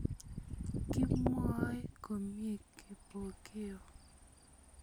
Kimwoi komie Kipokeo